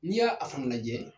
N'i y'a a fana lajɛ